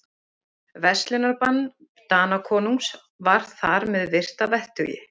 Verslunarbann Danakonungs var þar með virt að vettugi.